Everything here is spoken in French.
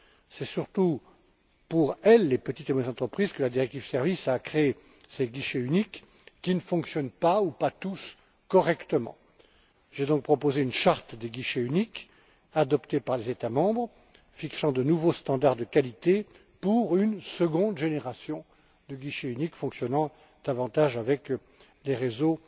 C'est surtout pour les petites et moyennes entreprises que la directive sur les services a créé ces guichets uniques, qui ne fonctionnent pas ou pas tous correctement. J'ai donc proposé une charte des guichets uniques, adoptée par les États membres, qui fixe de nouvelles normes de qualité pour une seconde génération de guichets uniques fonctionnant davantage avec les réseaux